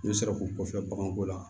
N'u sera k'u kɔfɛ baganko la